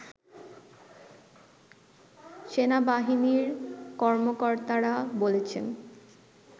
সেনাবাহিনীর কর্মকর্তারা বলছেন